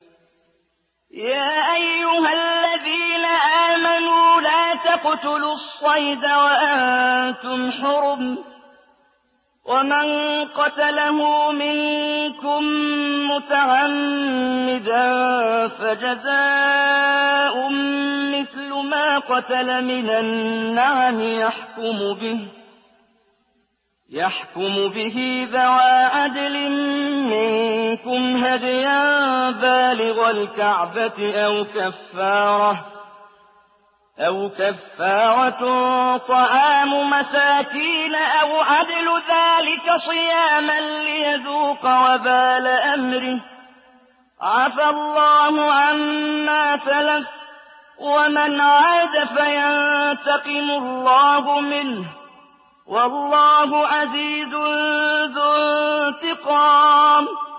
يَا أَيُّهَا الَّذِينَ آمَنُوا لَا تَقْتُلُوا الصَّيْدَ وَأَنتُمْ حُرُمٌ ۚ وَمَن قَتَلَهُ مِنكُم مُّتَعَمِّدًا فَجَزَاءٌ مِّثْلُ مَا قَتَلَ مِنَ النَّعَمِ يَحْكُمُ بِهِ ذَوَا عَدْلٍ مِّنكُمْ هَدْيًا بَالِغَ الْكَعْبَةِ أَوْ كَفَّارَةٌ طَعَامُ مَسَاكِينَ أَوْ عَدْلُ ذَٰلِكَ صِيَامًا لِّيَذُوقَ وَبَالَ أَمْرِهِ ۗ عَفَا اللَّهُ عَمَّا سَلَفَ ۚ وَمَنْ عَادَ فَيَنتَقِمُ اللَّهُ مِنْهُ ۗ وَاللَّهُ عَزِيزٌ ذُو انتِقَامٍ